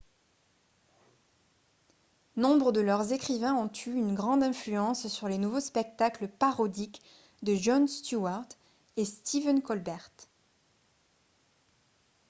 nombre de leurs écrivains ont eu une grande influence sur les nouveaux spectacles parodiques de jon steward et stephen colbert